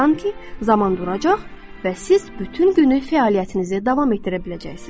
Sanki zaman duracaq və siz bütün günü fəaliyyətinizi davam etdirə biləcəksiniz.